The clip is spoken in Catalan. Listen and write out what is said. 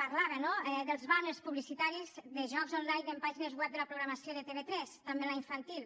parlava no dels bàners publicitaris de jocs online en pàgines web de la programació de tv3 també en la infantil